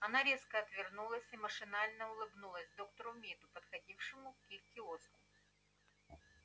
она резко отвернулась и машинально улыбнулась доктору миду подходившему к их киоску